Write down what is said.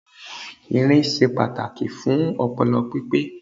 Irin se pàtàkì fún opolo pípé